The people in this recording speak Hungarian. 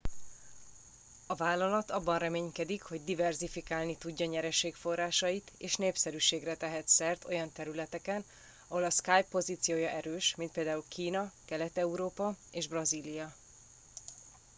a vállalat abban reménykedik hogy diverzifikálni tudja nyereségforrásait és népszerűségre tehet szert olyan területeken ahol a skype pozíciója erős mint például kína kelet európa és brazília